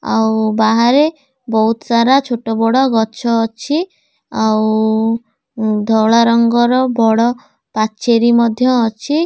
ଆଉ ବାହାରେ ବୋହୁତ ସାରା ଛୋଟ ବଡ଼ ଗଛ ଅଛି ଆଉ ଧଳା ରଙ୍ଗର ବଡ଼ ପାଚେରୀ ମଧ୍ୟ ଅଛି।